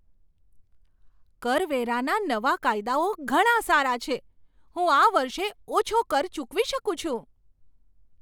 કરવેરાના નવા કાયદાઓ ઘણાં સારા છે! હું આ વર્ષે ઓછો કર ચૂકવી શકું છું!